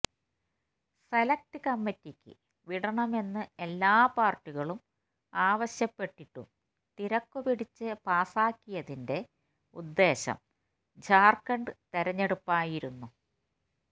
select കമ്മിറ്റിക്ക് വിടണമെന്ന് എല്ലാ പാർട്ടികളും ആവശ്യപ്പെട്ടിട്ടും തിരക്കുപിടിച്ച് പാസാക്കിയതിന്റെ ഉദ്ദേശം ജാർഖണ്ഡ് തെരഞ്ഞെടുപ്പായിരുന്നു